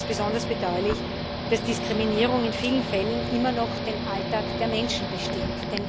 Deshalb ist es besonders bedauerlich, dass Diskriminierung in vielen Fällen immer noch den Alltag der Menschen bestimmt.